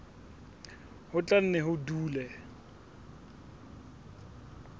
ho tla nne ho dule